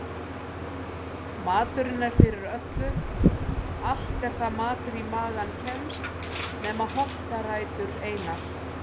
Maturinn er fyrir öllu allt er það matur í magann kemst nema holtarætur einar.